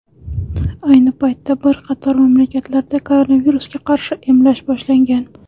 Ayni paytda bir qator mamlakatlarda koronavirusga qarshi emlash boshlangan.